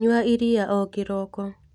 Nyua iria o kĩroko.